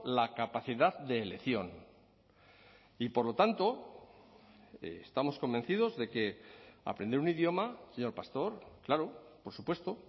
la capacidad de elección y por lo tanto estamos convencidos de que aprender un idioma señor pastor claro por supuesto